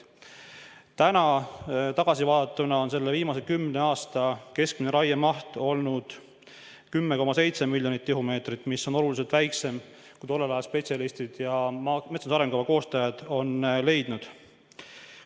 Kui täna tagasi vaadata, siis viimase kümne aasta keskmine raiemaht on olnud 10,7 miljonit tihumeetrit, mis on oluliselt väiksem, kui tollel ajal spetsialistid ja metsamajanduse arengukava koostajad lubatavaks pidasid.